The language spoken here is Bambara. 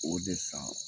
O de san